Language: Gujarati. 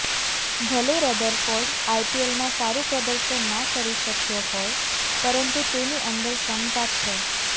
ભલે રધરફોર્ડ આઇપીએલમાં સારૂ પ્રદર્શન ના કરી શક્યો હોય પરંતુ તેની અંદર ક્ષમતા છે